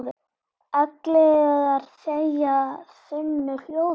Ellegar þegja þunnu hljóði?